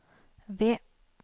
ved